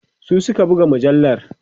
su Suka buga mujallar